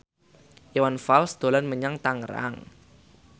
Iwan Fals dolan menyang Tangerang